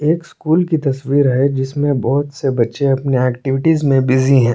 एक स्कूल की तस्वीर है जिसमें बहोत से बच्चे अपने एक्टिविटीज में बिजी है।